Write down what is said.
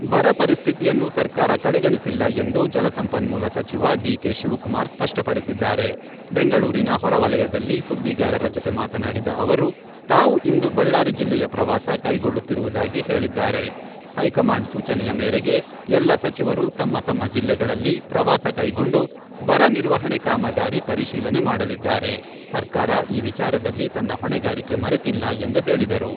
ಬರ ಪರಿಸ್ಥಿತಿಯನ್ನು ಸರ್ಕಾರ ಕಡೆಗಣಿಸಿಲ್ಲ ಎಂದು ಜಲಸಂಪನ್ಮೂಲ ಸಚಿವ ಡಿ.ಕೆ.ಶಿವಕುಮಾರ್ ಸ್ಪಷ್ಟಪಡಿಸಿದ್ದಾರೆ.ಬೆಂಗಳೂರಿನ ಹೊರವಲಯದಲ್ಲಿ ಸುದ್ದಿಗಾರರ ಜೊತೆ ಮಾತನಾಡಿದ ಅವರು, ತಾವು ಇಂದು ಬಳ್ಳಾರಿ ಜಿಲ್ಲೆಯ ಪ್ರವಾಸ ಕೈಗೊಳ್ಳುತ್ತಿರುವುದಾಗಿ ಹೇಳಿದ್ದಾರೆ.ಹೈಕಮಾಂಡ್ ಸೂಚನೆಯ ಮೇರೆಗೆ ಎಲ್ಲ ಸಚಿವರು ತಮ್ಮ ತಮ್ಮ ಜಿಲ್ಲೆಗಳಲ್ಲಿ ಪ್ರವಾಸ ಕೈಗೊಂಡು, ಬರ ನಿರ್ವಹಣೆ ಕಾಮಗಾರಿ ಪರಿಶೀಲನೆ ಮಾಡಲಿದ್ದಾರೆ, ಸರ್ಕಾರ ಈ ವಿಚಾರದಲ್ಲಿ ತನ್ನ ಹೊಣೆಗಾರಿಕೆ ಮರೆತಿಲ್ಲ ಎಂದು ಹೇಳಿದರು.